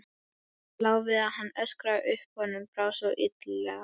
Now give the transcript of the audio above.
Lá við að hann öskraði upp, honum brá svo illilega.